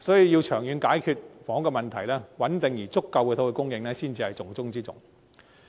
要長遠解決房屋的問題，穩定充足的土地供應才是重中之重。